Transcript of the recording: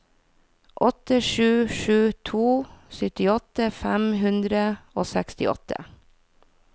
åtte sju sju to syttiåtte fem hundre og sekstiåtte